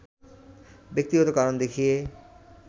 ব্যক্তিগত কারণ দেখিয়ে